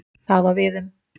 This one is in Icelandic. Það á við um